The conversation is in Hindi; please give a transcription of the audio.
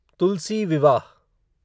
तुलसी विवाह